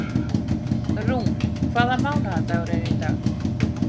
Rún, hvaða mánaðardagur er í dag?